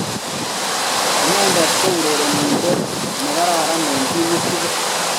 ine ko urerenindent ne karan eng timit tugul